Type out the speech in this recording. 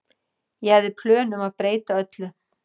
Ég hafði plön um að breyta öllu.